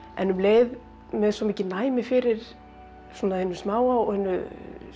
en um leið með svo mikið næmi fyrir svona hinu smáa og hinu